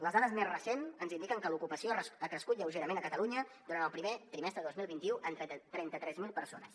les dades més recents ens indiquen que l’ocupació ha crescut lleugerament a catalunya durant el primer trimestre de dos mil vint u en trenta tres mil persones